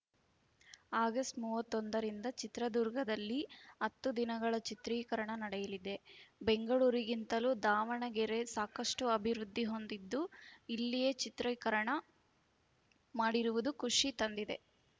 August ಮೂವತ್ತ್ ಒಂದ ರಿಂದ ಚಿತ್ರದುರ್ಗದಲ್ಲಿ ಹತ್ತು ದಿನಗಳ ಚಿತ್ರೀಕರಣ ನಡೆಯಲಿದೆ ಬೆಂಗಳೂರಿಗಿಂತಲೂ ದಾವಣಗೆರೆ ಸಾಕಷ್ಟುಅಭಿವೃದ್ಧಿ ಹೊಂದಿದ್ದು ಇಲ್ಲಿಯೇ ಚಿತ್ರೀಕರಣ ಮಾಡಿರುವುದು ಖುಷಿ ತಂದಿದೆ